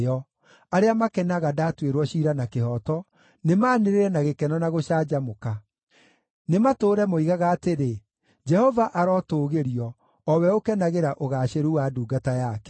Arĩa makenaga ndaatuĩrwo ciira na kĩhooto, nĩmanĩrĩre na gĩkeno na gũcanjamũka; nĩmatũũre moigaga atĩrĩ, “Jehova arotũgĩrio, o we ũkenagĩra ũgaacĩru wa ndungata yake.”